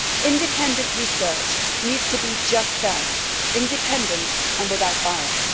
Independent research needs to be just that independent and without bias.